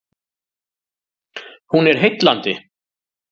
Hún er heillandi